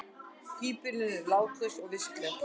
Híbýlin eru látlaus og vistleg.